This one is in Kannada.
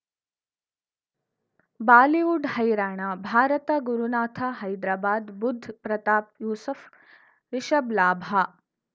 ಬಾಲಿವುಡ್ ಹೈರಾಣ ಭಾರತ ಗುರುನಾಥ ಹೈದ್ರಾಬಾದ್ ಬುಧ್ ಪ್ರತಾಪ್ ಯೂಸುಫ್ ರಿಷಬ್ ಲಾಭ